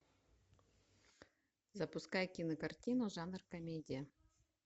запускай кинокартину жанр комедия